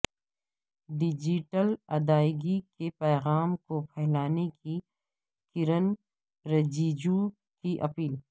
digital ادائیگی کے پیغام کو پھیلانے کی کرن رجیجو کی اپیل